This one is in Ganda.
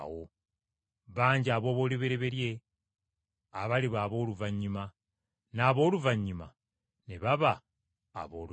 Bangi aboolubereberye, abaliba abooluvannyuma, n’ab’oluvannyuma ne baba aboolubereberye.”